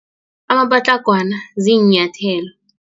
Amapatlagwana ziinyathelo.